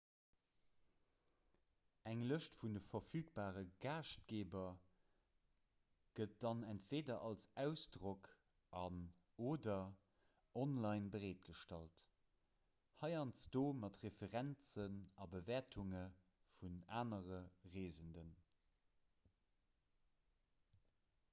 eng lëscht vun de verfügbare gaaschtgeeber gëtt dann entweeder als ausdrock an/oder online bereetgestallt heiansdo mat referenzen a bewäertunge vun anere reesenden